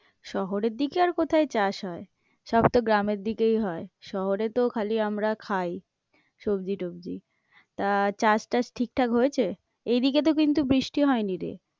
শহরের দিকে আর কোথায় চাষ হয়? সব তো গ্রামের দিকেই হয়, শহরে তো খালি আমরা খাই সবজি-টবজি, তা চাষ টাস ঠিক ঠাক হয়েছে? এইদিকে তো কিন্তু বৃষ্টি হয়নি রে।